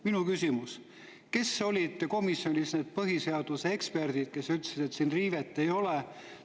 Minu küsimus: kes olid komisjonis need põhiseaduse eksperdid, kes ütlesid, et siin riivet ei ole.